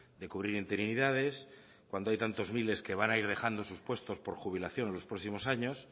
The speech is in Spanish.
de cubrir interinidades cuando hay tantos miles que van a ir dejando sus puestos por jubilación en los próximos años